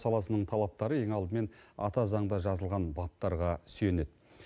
саласының талаптары ең алдымен ата заңда жазылған баптарға сүйенеді